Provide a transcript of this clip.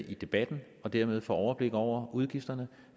i debatten og dermed få overblik over udgifterne